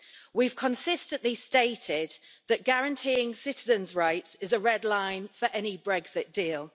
We have consistently stated that guaranteeing citizens' rights is a red line for any Brexit deal.